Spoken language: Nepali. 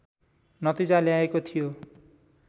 नतिजा ल्याएको थियो